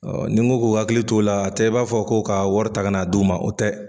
Ɔ nin ko k'u hakili t'o la a tɛ b'a fɔ ko ka wari taa ka' na d' u ma o tɛ.